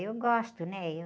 Eu gosto, né? Eu...